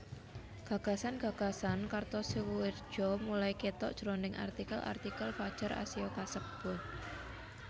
Gagasan gagasan Kartosoewirjo mulai ketok jroning artikel artikel Fadjar Asia kasebut